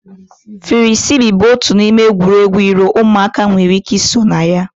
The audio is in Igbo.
Firisibi bụ otu n'ime egwuregwu iro ụmụaka nwere ike ị sonye na ya.